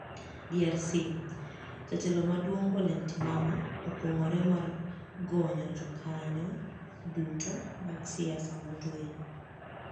DRC: Jatelo maduonig Olemtimama okwonig'ore mar goniyo jokaniyo duto mag siasa motue